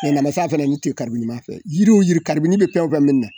Namasa fana ni tɛ fɛ yiri wo yiri bɛ fɛn wo fɛn minɛ na.